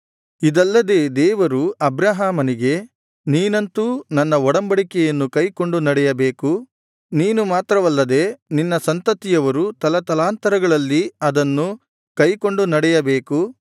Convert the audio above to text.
ಇದಲ್ಲದೆ ದೇವರು ಅಬ್ರಹಾಮನಿಗೆ ನೀನಂತೂ ನನ್ನ ಒಡಂಬಡಿಕೆಯನ್ನು ಕೈಕೊಂಡು ನಡೆಯಬೇಕು ನೀನು ಮಾತ್ರವಲ್ಲದೆ ನಿನ್ನ ಸಂತತಿಯವರು ತಲತಲಾಂತರಗಳಲ್ಲಿ ಅದನ್ನು ಕೈಕೊಂಡು ನಡೆಯಬೇಕು